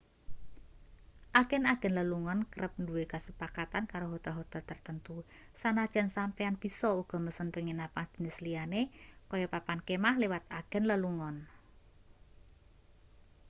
agen-agen lelungan kerep duwe kesepakatan karo hotel-hotel tertentu sanajan sampeyan bisa uga mesen penginapan jenis liyane kaya papan kemah liwat agen lelungan